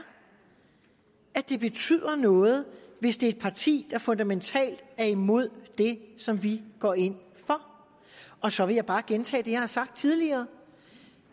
at det betyder noget hvis det er et parti der fundamentalt er imod det som vi går ind for og så vil jeg bare gentage det jeg har sagt tidligere